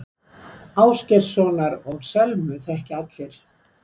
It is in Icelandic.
Ásgeirssonar og Selmu þekkja allir.